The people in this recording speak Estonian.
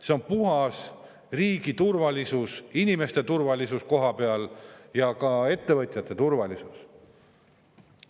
See on puhas riigi turvalisus, inimeste turvalisus kohapeal ja ka ettevõtjate turvalisus.